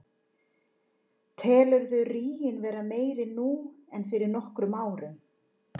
Telurðu ríginn vera meiri nú en fyrir nokkrum árum?